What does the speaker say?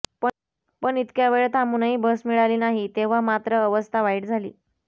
पण इतक्या वेळ थांबूनही बस मिळाली नाही तेव्हा मात्र अवस्था वाईट झाली